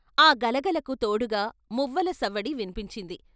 ఆ గలగలకు తోడుగా మువ్వల సవ్వడి విన్పించింది.